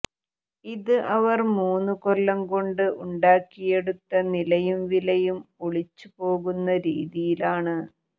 ഇത് അവർ മൂന്നു കൊല്ലം കൊണ്ട് ഉണ്ടാക്കിയെടുത്ത നിലയും വിലയും ഒളിച്ചു പോകുന്ന രീതിയിലാണ്